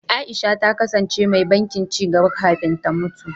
Aisha ta kasance mai bankin ci gaba kafin ta mutu.